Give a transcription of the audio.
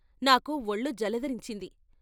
నాకు ఒళ్ళు జలదరించింది.